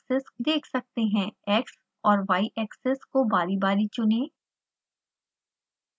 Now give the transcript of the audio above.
x और y axis को बारी बारी चुनें